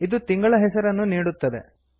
ಇದು ತಿಂಗಳ ಹೆಸರನ್ನು ನೀಡುತ್ತದೆ